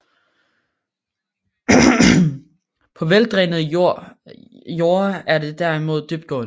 På veldrænede jorde er det derimod dybtgående